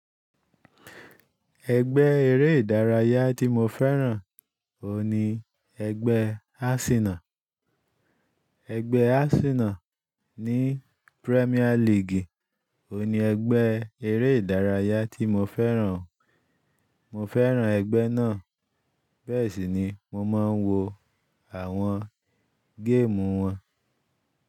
Ẹgbẹ́ eré ìdárayá tí mo fẹ́ràn òun ní ẹgbẹ́ Arsenal. Ẹgbẹ́ Arsenal ní Premier League oun ní ẹgbẹ́ eré ìdárayá tí mo fẹ́ràn. Mo fẹ́ràn ẹgbẹ́ náà, bẹ́ẹ̀ sì ni mo máa ń wo àwọn géèmù wọn.